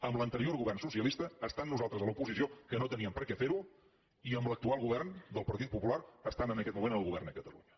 amb l’anterior govern socialista estant nosaltres a l’oposició que no teníem per què fer ho i amb l’actual govern del partit popular estant en aquest moment al govern a catalunya